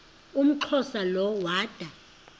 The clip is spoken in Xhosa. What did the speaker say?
umxhosa lo woda